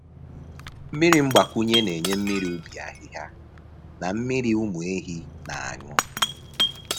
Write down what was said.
Mmiri mgbakwunye na-enye mmiri ubi ahịhịa na mmiri ụmụ ehi na-aṅụ.